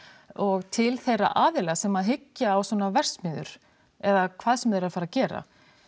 og til þeirra aðila sem hyggja á svona verksmiðjur eða hvað sem þeir eru að fara gera